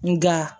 Nga